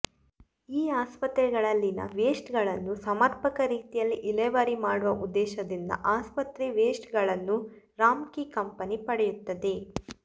ಈ ಆಸ್ಪತ್ರೆ ಗಳಲ್ಲಿನ ವೇಸ್ಟ್ಗಳನ್ನು ಸರ್ಮಪಕ ರೀತಿಯಲ್ಲಿ ಇಲೆವರಿ ಮಾಡುವ ಉದ್ದೇಶದಿಂದ ಆಸ್ಪತ್ರೆ ವೇಸ್ಟ್ ಗಳನ್ನು ರಾಂಮ್ಕೀ ಕಂಪೆನಿ ಪಡೆಯುತ್ತದೆ